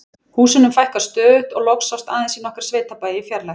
Húsunum fækkaði stöðugt og loks sást aðeins í nokkra sveitabæi í fjarlægð.